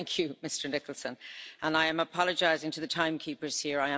So, thank you Mr Nicholson, and I am apologising to the time keepers here.